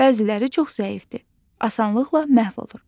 Bəziləri çox zəifdir, asanlıqla məhv olur.